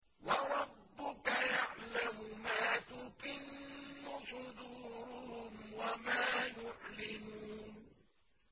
وَرَبُّكَ يَعْلَمُ مَا تُكِنُّ صُدُورُهُمْ وَمَا يُعْلِنُونَ